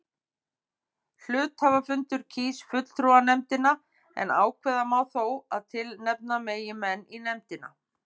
Hluthafafundur kýs fulltrúanefndina en ákveða má þó að tilnefna megi menn í nefndina.